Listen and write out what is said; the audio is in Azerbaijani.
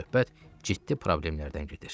Amma söhbət ciddi problemlərdən gedir.